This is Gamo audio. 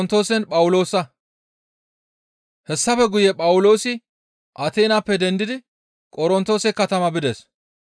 Hessafe guye Phawuloosi Ateenappe dendidi Qorontoose katama bides.